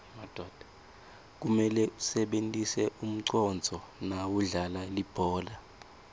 kumele usebentise umconduo nawudlala libhola